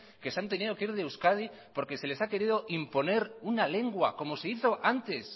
que se han tenido que ir de euskadi porque se les ha querido imponer una lengua como se hizo antes